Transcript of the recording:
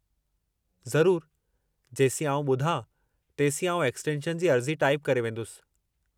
ज़रुरु, जेसीं आउं ॿुधां, तेसीं आऊं एक्सटेंशन जी अर्ज़ी टाइपु करे वेंदुसि।